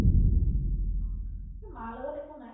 এই মাৰ লগত একো নাই